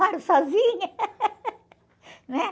Moro sozinha, né?